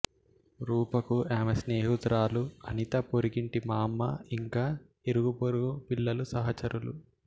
రూపకు ఆమె స్నేహితురాలు అనిత పొరుగింటి మామ్మ ఇంకా ఇరుగుపొరుగు పిల్లలు సహచరులు